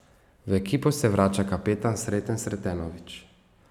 V ekipo se vrača kapetan Sreten Sretenović.